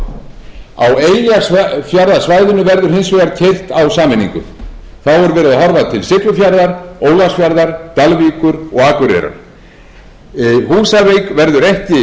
á eyjafjarðarsvæðinu verður hins vegar keyrt að sameiningu þá er verið að horfa til siglufjarðar ólafsfjarðar dalvíkur og akureyrar húsavík verður ekki þvinguð